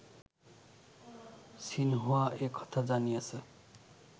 Xinhua এ কথা জানিয়েছে